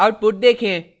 output देखें